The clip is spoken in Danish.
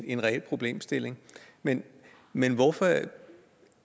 en reel problemstilling men men hvorfor